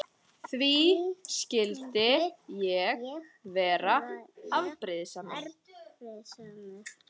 Því skyldi ég vera afbrýðisamur?